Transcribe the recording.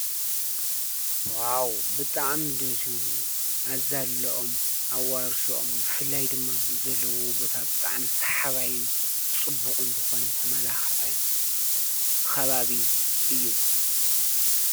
ዓዉ ብጥዓም ደስይብሉ ኣዛለኦም ኣብ ኣውርሶም ብፍላይ ድማ ዘለዉ ቦታ ብጥዓም ሰሓባይን ጽቡቕን ዝኾነ ተማላኽዒ ኸባቢ እዩ።